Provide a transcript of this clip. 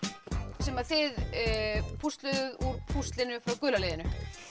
sem þið plúsluðuð úr púslinu frá gula liðinu